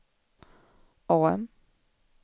AM